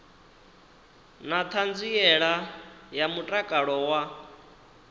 na ṱhanziela ya mutakalo wa